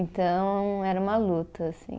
Então, era uma luta, assim.